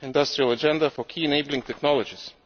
and the industrial agenda for key enabling technologies.